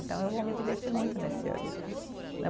Então eu vou me divertir muito nesse ano.